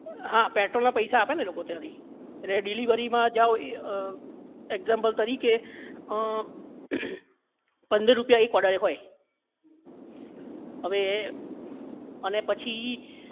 હા પેટ્રોલ ના પૈસા આપે એ લોકો ત્યાંથી એટલે delivery માં જાવ example તરીકે અ પંદર રૂપિયા એક order એ હોય અવે એ અને પછી